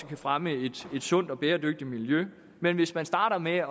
kan fremme et sundt og bæredygtigt miljø men hvis man starter med